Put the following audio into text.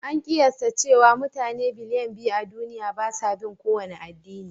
An kiyasta cewa mutane biliyan biyu a duniya ba sa bin kowane addini.